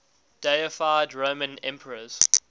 deified roman emperors